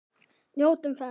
Njótum þess.